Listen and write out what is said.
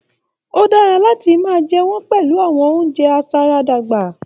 O dára láti máa jẹ wọn pẹlu awọn ounjẹ aṣaradàgbà.